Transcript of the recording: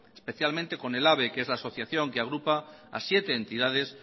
especialmente con ehlabe que es la asociación que agrupa a siete entidades